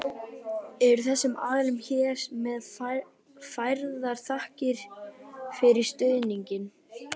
Eru þessum aðilum hér með færðar þakkir fyrir stuðninginn.